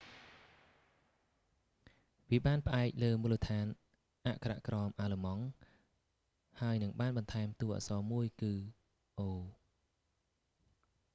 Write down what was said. វាបាន​ផ្អែក​លើ​មូលដ្ឋាន​អក្ខរក្រម​អាល្លឺម៉ង់ ហើយនឹង​បាន​បន្ថែមតួអក្សរ​មួយគឺ õ/õ"។